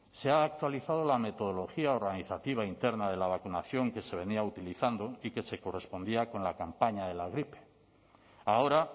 se ha actualizado la metodología organizativa interna de la vacunación que se venía utilizando y que se correspondía con la campaña de la gripe ahora